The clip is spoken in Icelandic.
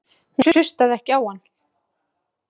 Hún hlustaði ekki á hann.